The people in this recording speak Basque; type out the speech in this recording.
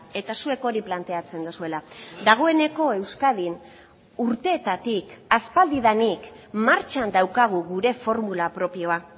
eta zuek hori planteatzen duzuela dagoeneko euskadin urteetatik aspaldidanik martxan daukagu gure formula propioa